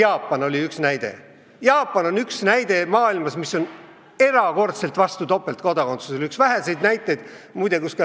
Oudekki ütles, et Jaapan on üks näide maailmas, kes on erakordselt vastu topeltkodakondsusele – üks väheseid näiteid, muide.